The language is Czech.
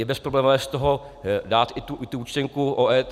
Je bezproblémové z toho dát i tu účtenku o EET.